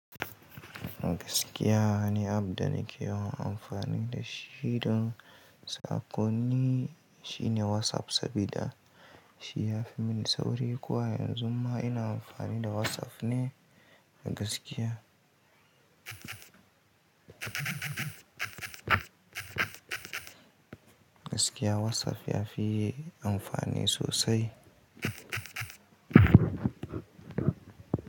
Gaskiya, ni App da na ke yawan amfani da shi don sakonni. Shi ne WhatsApp sabida shi ya fi mini sauri ko a yanzu ma ina amfani da WhatsApp ne gaskiya. Gaskiya WhatsApp ya fi amfani sosai.